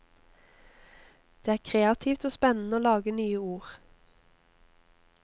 Det er kreativt og spennende å lage nye ord.